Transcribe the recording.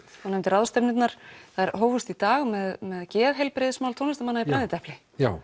þú nefndir ráðstefnurnar þær hófust í dag með geðheilbrigðismál tónlistarmanna í brennidepli já